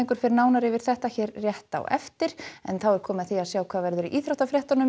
fer nánar yfir þetta hér rétt á eftir þá er komið að því að sjá hvað verður í íþróttafréttum